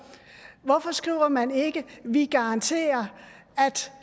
hvorfor skriver man ikke vi garanterer